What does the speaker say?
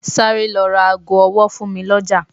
Sáré lọ ra ago ọwọ fún mi lọjà.